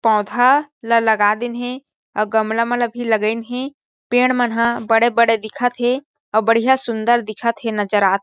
पौधा ल लगा दिन हे अउ गमला मन ला भी लगाइन हे पेड़ मन ह बड़े-बड़े दिखत हे अउ बढ़िया सुन्दर दिखत हे नज़र आत हे।